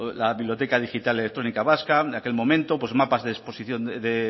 la biblioteca digital electrónica vasca de aquel momento mapas de exposición de